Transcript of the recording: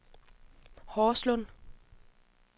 Horslunde